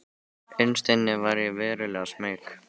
Innst inni var ég verulega smeyk.